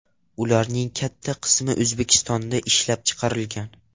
Ularning katta qismi O‘zbekistonda ishlab chiqarilgan.